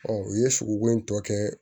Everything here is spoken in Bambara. u ye sogo in tɔ kɛ